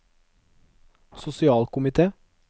sosialkomite